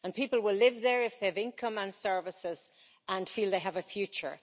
People will live there if they have income and services and feel they have a future.